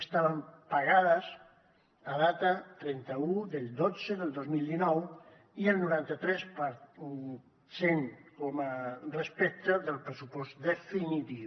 estaven pagades a data trenta un del xii del dos mil dinou i el noranta tres per cent respecte al pressupost definitiu